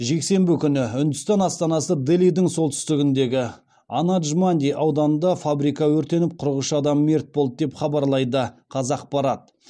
жексенбі күні үндістан астанасы делидің солтүстігіндегі анадж манди ауданында фабрика өртеніп қырық үш адам мерт болды деп хабарлайды қазақпарат